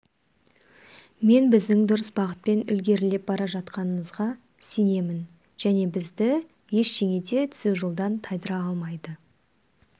мен біздің дұрыс бағытпен ілгерілеп бара жатқанымызға сенемін және бізді ештеңе де түзу жолдан тайдыра алмайды